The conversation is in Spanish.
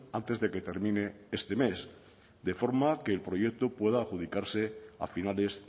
antes de que termine este mes de forma que el proyecto pueda adjudicarse a finales